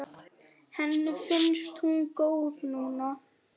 Henni finnst hún góð núna.